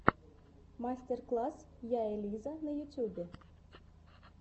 мастер класс я элиза в ютюбе